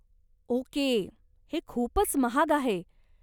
Okay, हे खूपच महाग आहे.